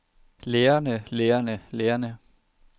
lærerne lærerne lærerne